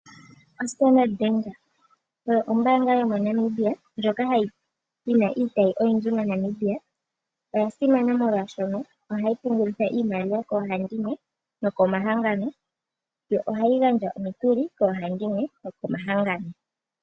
Ombaanga yoStandard oyo ombaanga yomoNamibia ndjoka yi na iitayi oyindji moshilongo. Oya simana molwashoka ohayi pungulitha nokugandja omikuli koohandimwe nokomahangano.